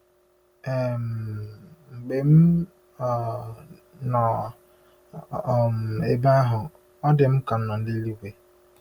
um Mgbe m um nọ um ebe ahụ, ọ dị m ka m nọ n’eluigwe. ”